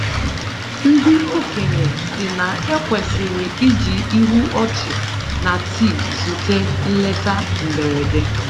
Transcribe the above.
Ndị okenye sị na- ekwesịrị i ji ihu ọchị na tii zute nleta mberede.